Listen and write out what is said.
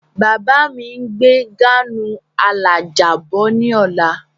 Bàbá mi ń gbé gáànù alájà bọ̀ ní ọ̀la.